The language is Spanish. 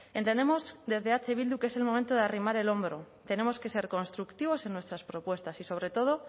entendemos desde eh bildu que es el momento de arrimar el hombro tenemos que ser constructivos en nuestras propuestas y sobre todo